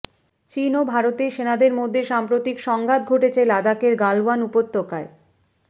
চীন ও ভারতের সেনাদের মধ্যে সাম্প্রতিক সংঘাত ঘটেছে লাদাখের গালওয়ান উপত্যকায়